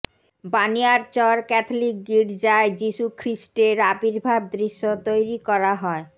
Baniarchar Catholic গির্জায় যিশুখ্রিস্টের আবির্ভাব দৃশ্য তৈরি করা হয়